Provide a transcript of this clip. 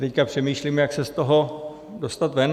Teď přemýšlím, jak se z toho dostat ven.